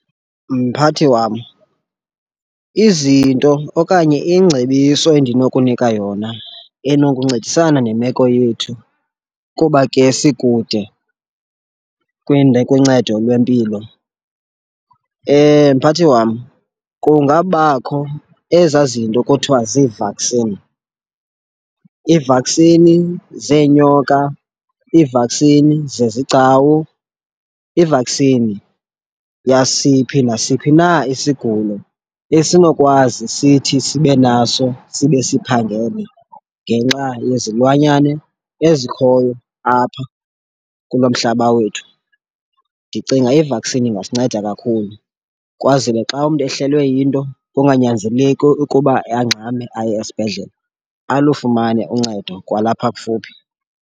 Mphathi wam, izinto okanye ingcebiso endinokunika yona enokuncedisana nemeko yethu kuba ke sikude kwincedo lwempilo, mphathi wam kungabakho ezaa zinto kuthiwa zivaksini. Iivaksini zeenyoka, iivaksini zezigcawu, ivaksini yasiphi nasiphi na isigulo esinokwazi sithi sibe naso sibe siphangele ngenxa yezilwanyane ezikhoyo apha kulo mhlaba wethu. Ndicinga ivaksini ingasinceda kakhulu kwazele xa umntu ehlelwe yinto kunganyanzeleki ukuba angxame aye esibhedlele, alufumane uncedo kwalapha kufuphi.